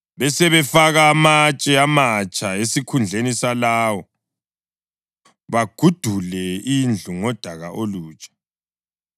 Besebefaka amatshe amatsha esikhundleni salawo, bagudule indlu ngodaka olutsha.